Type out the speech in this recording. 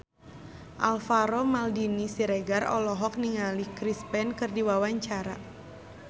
Alvaro Maldini Siregar olohok ningali Chris Pane keur diwawancara